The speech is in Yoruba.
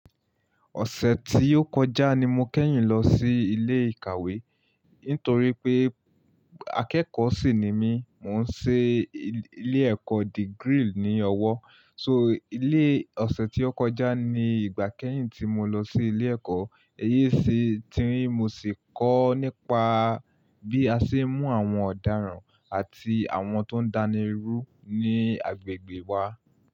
Ọ̀sẹ̀ tí ó kọjá ni mo kẹ́yìn lọ sí ilé ìkàwé nítorí pé akẹ́kọ̀ọ́ sì ni mí. Mò ń ṣe ilé ẹ̀kọ́ degree ní ọwọ́. So ilé ọ̀sẹ̀ tí ó kọjá ni ìgbà kẹ́yìn tí mo lọ sí ilé ẹ̀kọ́. Eyí sì ti ń mo sì kọ́ nípa bí a ṣe ń mú àwọn ọ̀daràn àti àwọn tó ń dánirú ní agbègbè wa.